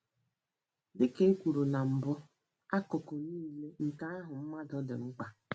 Dị ka e kwuru na mbụ, akụkụ nile nke ahụ mmadụ dị mkpa.